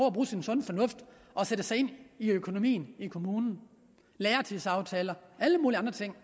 at bruge sin sunde fornuft og sætte sig ind i økonomien i kommunen lærertidsaftaler og alle mulige andre ting